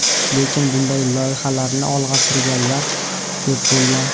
Lekin bunday loyihalarni olg‘a surganlar ko‘p bo‘lgan.